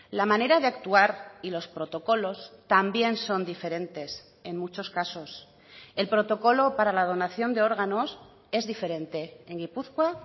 la manera de actuar y los protocolos también son diferentes en muchos casos el protocolo para la donación de órganos es diferente en gipuzkoa